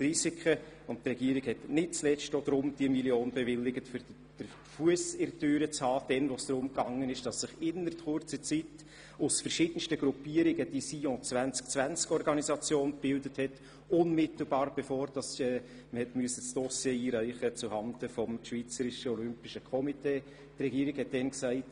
1 Mio. Franken wurde nicht zuletzt auch deshalb bewilligt, weil man einen Fuss in der Türe haben wollte, als sich die Sion2020-Organisation innerhalb kurzer Zeit aus verschiedensten Gruppierungen gebildet hat, unmittelbar bevor das Dossier zuhanden des Schweizerischen Olympischen Komitees eingereicht werden musste.